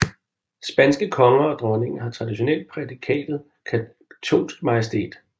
Spanske konger og dronninger har traditionelt prædikatet katolsk majestæt